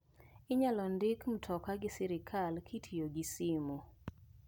Inyal ndik mtoka gi sirkal kitiyo gi simu.